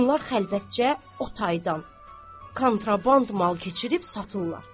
bunlar xəlvətcə o taydan kontraband mal keçirib satırlar.